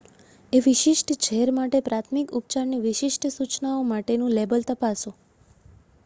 એ વિશિષ્ટ ઝેર માટે પ્રાથમિક ઉપચારની વિશિષ્ટ સૂચનાઓ માટેનું લેબલ તપાસો